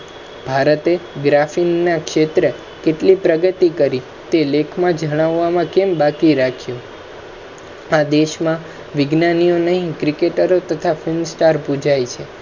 ભારત એ graphic ના ક્ષેત્ર માં કેતલી પ્રગતિ કરી તે લેખ માં જણાવામા કેમ બાકી રાખ્યું. આ દેશ મા વિજ્ઞાનિયો નહિ cricketer તથા film star પુજાય છે